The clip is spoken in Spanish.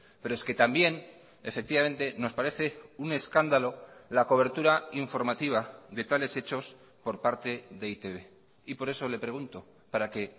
pero es que también efectivamente nos parece un escándalo la cobertura informativa de tales hechos por parte de e i te be y por eso le pregunto para que